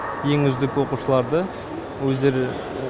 ең үздік оқушыларды өздері